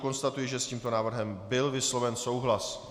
Konstatuji, že s tímto návrhem byl vysloven souhlas.